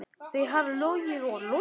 Þau hafa logið og logið.